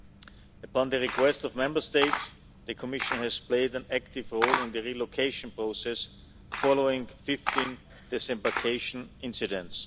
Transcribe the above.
At the request of Member States, the Commission has played an active role in the relocation process following 15 disembarkation incidents.